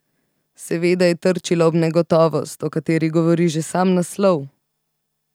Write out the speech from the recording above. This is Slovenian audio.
Seveda je trčila ob negotovost, o kateri govori že sam naslov.